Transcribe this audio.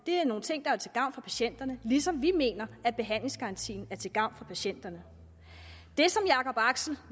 nogle ting der er til gavn for patienterne ligesom vi mener at behandlingsgarantien er til gavn for patienterne det som jacob axel